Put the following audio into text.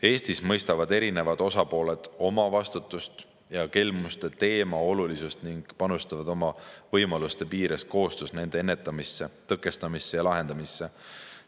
Eestis mõistavad erinevad osapooled oma vastutust ja kelmuste teema olulisust ning panustavad oma võimaluste piires koostöös nende ennetamisse, tõkestamisse ja lahendamisse.